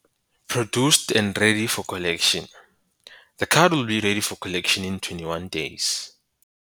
Produced and ready for collection - The card will be ready for collection in 21 days.